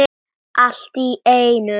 Allt í einu.